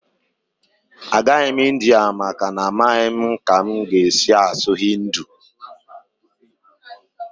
Agaghị m India maka na amaghị m ka m ga-esi asụ Hindi